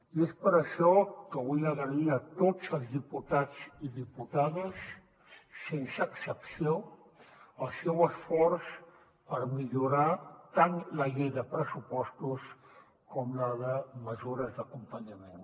i és per això que vull agrair a tots els diputats i diputades sense excepció el seu esforç per millorar tant la llei de pressupostos com la de mesures d’acompanyament